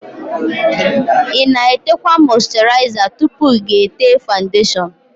Ịna-etekwa mọsturiza tupu ga-ete fawundeshon?